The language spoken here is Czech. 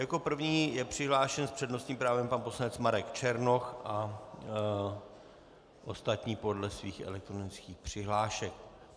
Jako první je přihlášen s přednostním právem pan poslanec Marek Černoch a ostatní podle svých elektronických přihlášek.